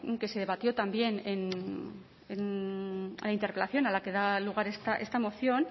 que se debatió también en en la interpelación a la que da lugar esta moción